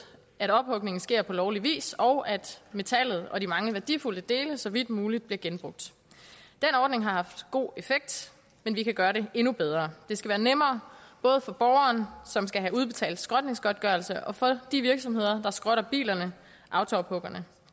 at ophugningen sker på lovlig vis og at metallet og de mange værdifulde dele så vidt muligt bliver genbrugt den ordning har haft god effekt men vi kan gøre det endnu bedre det skal være nemmere både for borgeren som skal have udbetalt skrotningsgodtgørelse og for de virksomheder der skrotter bilerne autoophuggerne og